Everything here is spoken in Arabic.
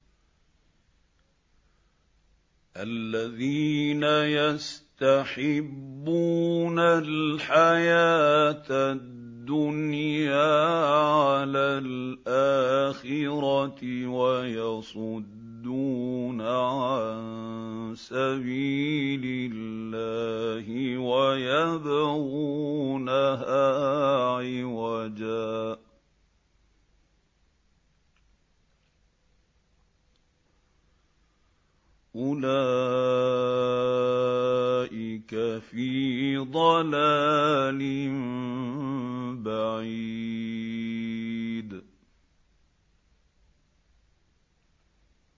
الَّذِينَ يَسْتَحِبُّونَ الْحَيَاةَ الدُّنْيَا عَلَى الْآخِرَةِ وَيَصُدُّونَ عَن سَبِيلِ اللَّهِ وَيَبْغُونَهَا عِوَجًا ۚ أُولَٰئِكَ فِي ضَلَالٍ بَعِيدٍ